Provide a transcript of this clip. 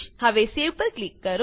હવેસેવ પર ક્લિક કરો